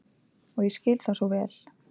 Og ég skil það svo vel.